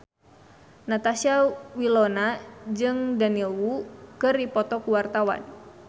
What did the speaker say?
Natasha Wilona jeung Daniel Wu keur dipoto ku wartawan